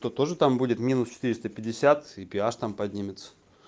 то тоже там будет минус четыреста пятьдесят и пи аш там поднимется